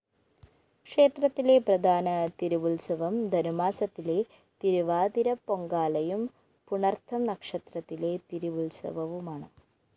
ക്ഷേത്രത്തിലെ പ്രധാന തിരവുത്സവം ധനുമാസത്തിലെ തിരവാതിരപ്പൊങ്കാലയും പുണര്‍തം നക്ഷത്രത്തിലെ തിരുവുത്സവവുമാണ്